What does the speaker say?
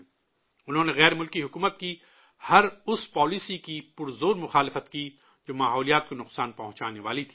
انہوں نے غیر ملکی حکومت کی ہر اس پالیسی کی پرزور مخالفت کی، جو ماحولیات کو نقصان پہنچانے والی تھی